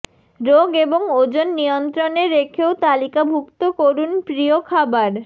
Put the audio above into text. রোগ এবং ওজন নিয়ন্ত্রণে রেখেও তালিকাভুক্ত করুন প্রিয় খাবার